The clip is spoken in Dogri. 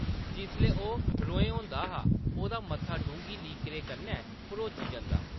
जिसलै ओह्‌‌ रोहें होंदा तां ओह्‌दा मत्था डूंह्‌गी लकीरें कन्नै भरोची जंदा ।